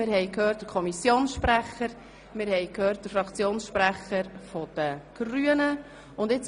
Wir haben den Kommissionsprecher und den Fraktionssprecher der Grünen gehört.